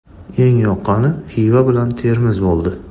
Eng yoqqani Xiva bilan Termiz bo‘ldi.